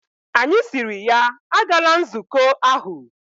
Anyi siri ya, agala nzuko ahu!